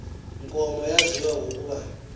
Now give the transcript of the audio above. nkomo yaziwa ngokuba